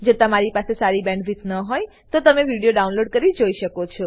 જો તમારી પાસે સારી બેન્ડવિડ્થ ન હોય તો તમે વિડીયો ડાઉનલોડ કરીને જોઈ શકો છો